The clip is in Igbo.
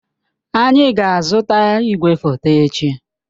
Anyị ga-azụta igwefoto echi.